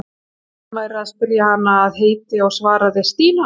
Hún hélt að hann væri að spyrja hana að heiti og svaraði: Stína.